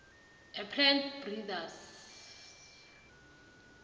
a plant breeders